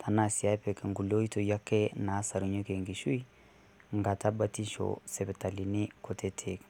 tenaa sii epik kulie oitoi nasarunyieki enkishui nkata batisho sipitalini kutitik